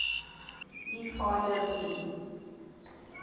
e filer dien